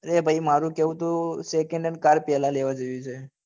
એ ભાઈ મારું કેવું ત second hand car પહેલા લેવી જેવી છે.